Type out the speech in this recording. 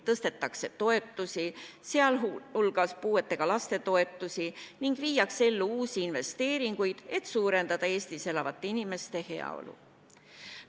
Tõstetakse toetusi, sh puuetega laste toetusi ning viiakse ellu uusi investeeringuid, et suurendada Eestis elavate inimeste heaolu.